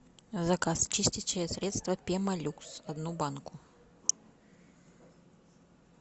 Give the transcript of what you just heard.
заказ чистящее средство пемолюкс одну банку